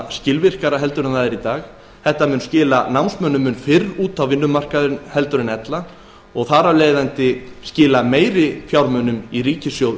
skilvirkara en það er í dag og skila námsmönnum mun fyrr út á vinnumarkaðinn en ella og þar af leiðandi skila meiri fjármunum í ríkissjóð